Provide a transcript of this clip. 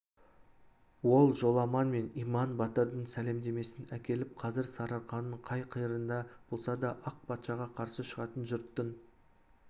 ол жоламан мен иман батырдың сәлемдемесін әкеліп қазір сарыарқаның қай қиырында болса да ақ патшаға қарсы шығатын жұрттың